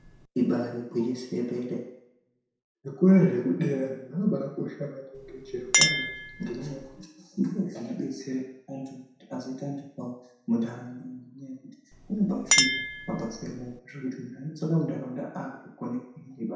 Ibaari gwinyiso remene zvikora zvekudera zvakabakosha maningi chero ngenyaya yekuti ndizvo zvinodetsera antu kuti azoita antu kwawo munharaunda. Ngenyaya yekuti kunobafundwa mabasa emaoko anoita kuti muntu unozodzoka munharaunda akukona kuhi.